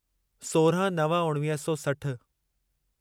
सोरहं नव उणिवीह सौ सठ